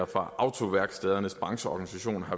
fra autoværkstedernes brancheorganisations